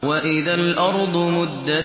وَإِذَا الْأَرْضُ مُدَّتْ